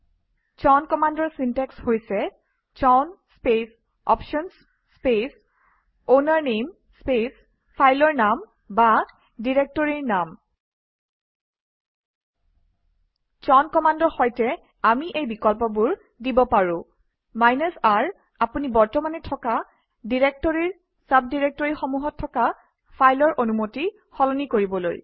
চাউন কমাণ্ডৰ চিনটেক্স হৈছে chown space options space owner name space file name or directory name chown কমাণ্ডৰ সৈতে আমি এই বিকল্পবোৰ দিব পাৰো R আপুনি বৰ্তমানে থকা ডিৰেক্টৰীৰ চাবডিৰেক্টৰীসমূহত থকা ফাইলৰ অনুমতি সলনি কৰিবলৈ